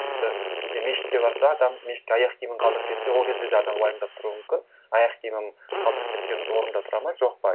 тіпті кейде мешітке барса адам мешітке аяқ киімін қалдырып кетсе ол кезде де адам уайымдап тұруы мүмкін аяқ киімім қалдырып кеткен орында тұрады ма жоқ па